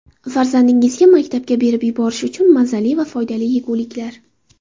Farzandingizga maktabga berib yuborish uchun mazali va foydali yeguliklar.